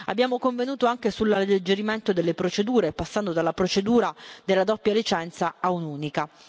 Abbiamo convenuto anche sull'alleggerimento delle procedure, passando dalla procedura della doppia licenza a un'unica.